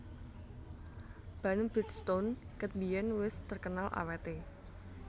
Ban Bridgestone ket biyen wes terkenal awet e